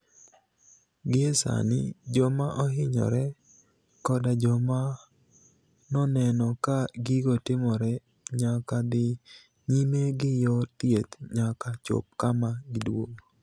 Gie Saanii joma ohiniyore, koda joma noni eno ka gigo timore niyaka dhi niyime gi yor thieth niyaka chop kama giduogo.